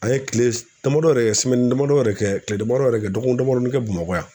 An ye kile damadɔ yɛrɛ kɛ damadɔ yɛrɛ kɛ kile damadɔ yɛrɛ kɛ dɔgɔkun damadɔnin kɛ MAKAƆ yan.